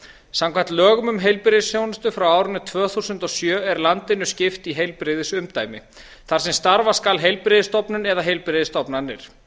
samkvæmt lögum um heilbrigðisþjónustu frá árinu tvö þúsund og sjö er landinu skipt í heilbrigðisumdæmi þar sem starfa skal heilbrigðisstofnun eða heilbrigðisstofnanir